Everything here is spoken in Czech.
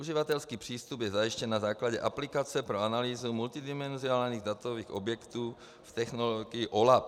Uživatelský přístup je zajištěn na základě aplikace pro analýzu multidimenzionálních datových objektů v technologii OLAP.